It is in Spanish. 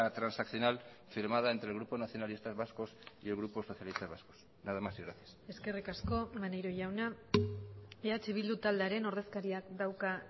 transaccional firmada entre el grupo nacionalistas vascos y el grupo socialistas vascos nada más y gracias eskerrik asko maneiro jauna eh bildu taldearen ordezkariak dauka